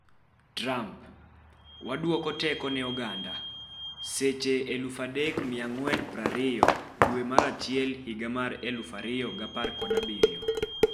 Trump: Wadwoko teko ne oganda, Seche 0,3420 dwe mar achiel higa mar 2017,